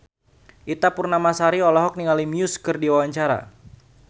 Ita Purnamasari olohok ningali Muse keur diwawancara